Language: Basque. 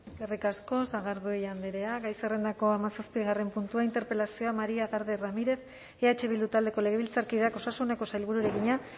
eskerrik asko sagardui andrea gai zerrendako hamazazpigarren puntua interpelazioa maria garde ramirez eh bildu taldeko legebiltzarkideak osasuneko sailburuari egina